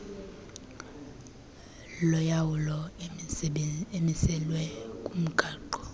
yolawulo emiselwe kumgaqo